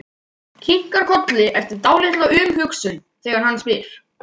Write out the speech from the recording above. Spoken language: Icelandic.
Kinkar kolli eftir dálitla umhugsun þegar hann spyr.